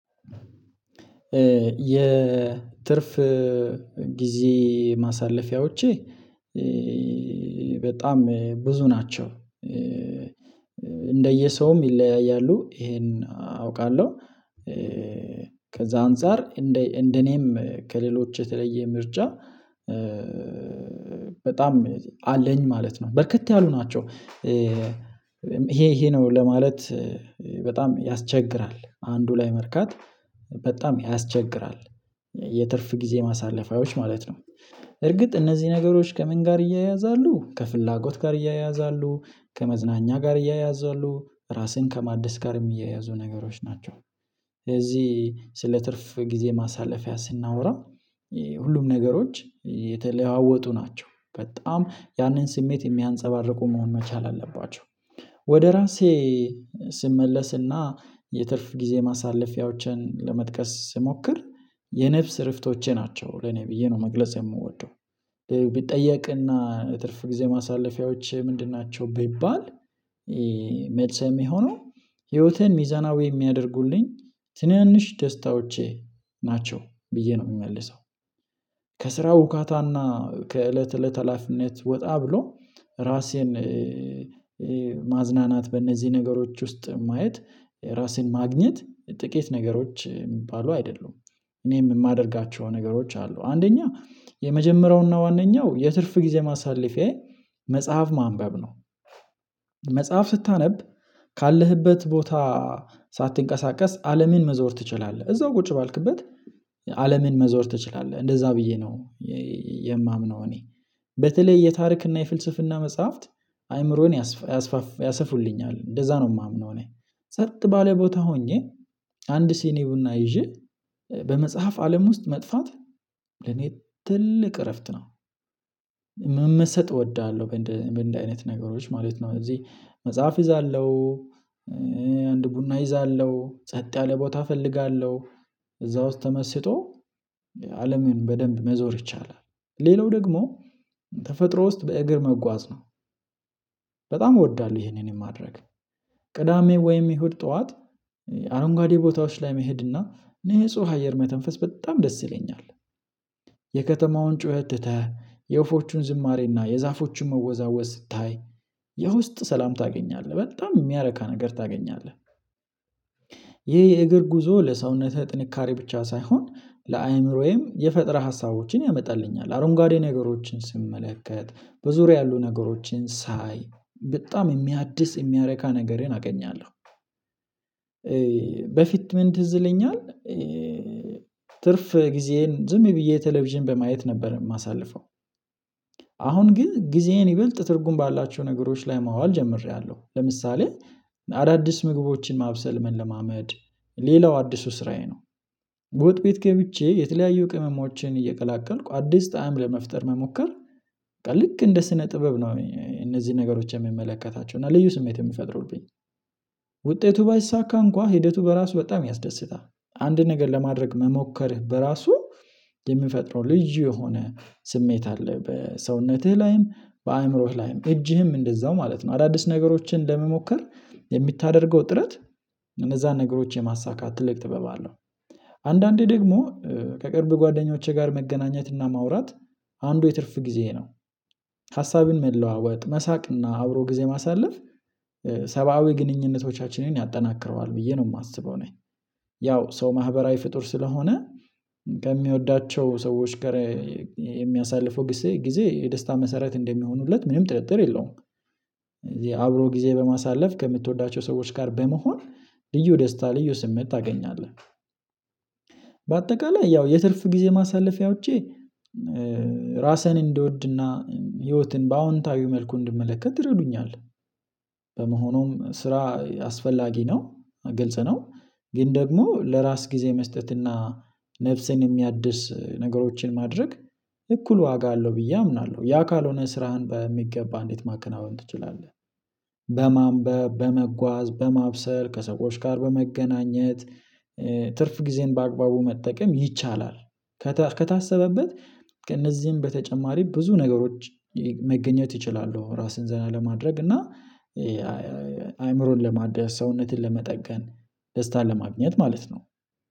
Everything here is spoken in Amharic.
የትርፍ ጊዜየ ማሳለፊያዎቼ በጣም ብዙ ናቸው። እንደየሰውም ይለያያሉ ይሄን አውቃለሁ። ከዛ አንፃር እንደ እኔም ከሌሎች የተለየ ምርጫ በጣም አለኝ ማለት ነው። በርከት ያሉ ናቸው። ይሄ ይሄ ነው ለማለት በጣም ያስቸግራል አንዱ ላይ መርካት በጣም ያስቸግራል የትርፍ ጊዜ ማሳለፊያዎች ማለት ነው። እርግጥ እነዚህ ነገሮች ከምን ጋር ይያያዛሉ ከፍላጎት ጋር ይያያዛሉ ከመዝናኛ ጋር ይያያዛሉ ራስን ከማደስ ጋር የሚያያዙ ነገሮች ናቸው። ስለዚህ ስለ ትርፍ ጊዜ ማሳለፊያ ስናወራ ሁሉም ነገሮች የተለዋወጡ ናቸው በጣም ያንን ስሜት የሚያንፀባርቁ መሆን መቻል አለባቸው። ወደ ራሴ ስመለስና የትርፍ ጊዜ ማሳለፊያዎችን ለመጥቀስ ስሞክር የነፍስ እረፍቶቼ ናቸው ለኔ ብዬ ነው መግለጽ የምወደው። ቢጠየቅና ትርፍ ጊዜ ማሳለፊያዎች ምንድን ናቸው ቢባል? መልሰም የሚሆነው ህይወትን ሚዛናዊ የሚያደርጉልኝ ትንንሽ ደስታዎቼ ናቸው ብዬ ነው የምመልሰው። ከስራው ርካታና ከእለት እለት ሀላፊነት ወጣ ብሎ ራሴን ማዝናናት በእነዚህ ነገሮች ውስጥ ማየት ራስን ማግኘት ጥቂት ነገሮች የሚባሉ አይደሉም። እኔም የማደርጋቸው ነገሮች አሉ አንደኛ የመጀመሪያውና ዋነኛው የትርፍ ጊዜ ማሳለፊያዬ መጽሐፍ ማንበብ ነው። መጽሐፍ ስታነብ ካለህበት ቦታ ሳትንቀሳቀስ አለምን መዞር ትችላለህ እዛው ቁጭ ባልክበት አለምን መዞር ትችላለህ እንደዛ ብዬ ነው። የማምነው እኔ በተለይ የታሪክና የፍልስፍና መጽሐፍት አይምሮን ያሰፋልኛል እንደዛ ነው የማምነው እኔ። ጸጥ ባለ ቦታ ሆኜ አንድ ሲኒ ቡና ይዤ በመጽሐፍ አለም ውስጥ መጥፋት ለኔ ትልቅ እረፍት ነው። መመሰጥ እወዳለሁ በእንዲ አይነት ነገሮች ማለት ነው እዚህ መጽሐፍ እይዛለሁ። አንድ ቡና እይዛለሁ ጸጥ ያለ ቦታ እፈልጋለሁ። እዛ ውስጥ ተመስጦ አለምን በደንብ መዞር ይቻላል። ሌላው ደግሞ ተፈጥሮ ውስጥ በእግር መጓዝ ነው። በጣም እወዳለሁ ይሄንንም ማድረግ ቅዳሜ ወይም ይሁድ ጠዋት አረንጓዴ ቦታዎች ላይ መሄድና ንጹህ አየር መተንፈስ በጣም ደስ ይለኛል። የከተማውን ጩኸት ትተህ የወፎቹን ዝማሬና የዛፎቹን መወዛወዝ ስታይ የ ውስጥ ሰላም ታገኛለህ በጣም የሚያረካ ነገር ታገኛለህ ይሄ የእግር ጉዞ ለሰውነትህ ጥንካሬ ብቻ ሳይሆን ለአእምሮዬም የፈጠራ ሀሳቦችን ያመጣልኛል አሮንጓዴ ነገሮችን ስመለከት በዙሪያ ያሉ ነገሮችን ሳይ በጣም የሚያድስ የሚያረካ ነገርን አገኛለሁ። በፊት ምን ትዝለኛል? ትርፍ ጊዜዬን ዝም ብዬ የቴሌቪዥን በማየት ነበር የማሳልፈው። አሁን ግን ጊዜዬን ይበልጥ ትርጉም ባላቸው ነገሮች ላይ ማዋል ጀምሬያለሁ ለምሳሌ አዳዲስ ምግቦችን ማብሰል መለማመድ ሌላው አዲሱ ስራዬ ነው። በወጥ ቤት ገብቼ የተለያዩ ቅመሞችን እየቀላቀልኩ አዲስ ጣዕም ለመፍጠር መሞከር ልክ እንደ ስነ ጥበብ ነው እነዚህን ነገሮች የምመለከታቸው እና ልዩ ስሜት የሚፈጥሩብኝ። ውጤቱ ባይሳካ እንኳን ሂደቱ በራሱ በጣም ያስደስታል። አንድ ነገር ለማድረግ መሞከርህ በራሱ የምፈጥረው ልዩ የሆነ ስሜት አለ በሰውነትህ ላይም በአእምሮህ ላይም እጅህም እንደዛው ማለት ነው። አዳዲስ ነገሮችን ለመሞከር የምታደርገው ጥረት እነዛን ነገሮች የማሳካት ትልቅ ጥበብ አለው። አንዳንዴ ደግሞ ከቅርብ ጓደኞቼ ጋር መገናኘትና ማውራት አንዱ የትርፍ ጊዜ ነው። ሀሳብን መለዋወጥ መሳቅና አብሮ ጊዜ ማሳለፍ ሰብአዊ ግንኙነቶቻችንን ያጠናክረዋል ብዬ ነው የማስበው። እኔ ያው ሰው ማህበራዊ ፍጡር ስለሆነ ከሚወዳቸው ሰዎች ጋር የሚያሳልፈው ጊዜ የደስታ መሰረት እንደሚሆኑለት ምንም ጥርጥር የለውም። እዚህ አብሮ ጊዜ በማሳለፍ ከምትወዳቸው ሰዎች ጋር በመሆን ልዩ ደስታ ልዩ ስሜት ታገኛለህ። በአጠቃላይ ያው የትልፍ ጊዜ ማሳለፊያዎቼ ራስህን እንድወድና ህይወትን በአዎንታዊው መልኩ እንድመለከት ትረዱኛለህ። በመሆኑም ስራ አስፈላጊ ነው ግልጽ ነው። ግን ደግሞ ለራስ ጊዜ መስጠትና ነፍሴን የሚያድስ ነገሮችን ማድረግ እኩል ዋጋ አለው ብዬ አምናለሁ ያ ካልሆነ ስራህን በሚገባ እንዴት ማከናወን ትችላለህ? በማንበብ በመጓዝ በማብሰል ከሰዎች ጋር በመገናኘት ትርፍ ጊዜን በአግባቡ መጠቀም ይቻላል። ከታሰበበት ከእነዚህም በተጨማሪ ብዙ ነገሮች መገኘት ይችላሉ። ራስን ዘና ለማድረግ እና አእምሮን ለማደስ ሰውነትን ለመጠገን ደስታን ለማግኘት ማለት ነው።